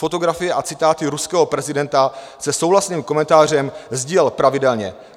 Fotografie a citáty ruského prezidenta se souhlasným komentářem sdílel pravidelně.